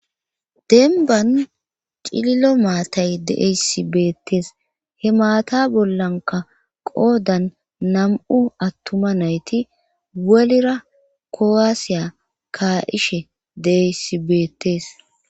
denban cillo maatay deesibeetes he maata bollanka qoodan nam7u attuma nayti welira kowaasiya ka7ishe deesibeetees